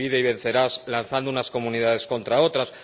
el divide y vencerás, lanzando unas comunidades contra otras...